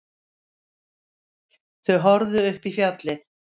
Þau horfðu upp í fjallið.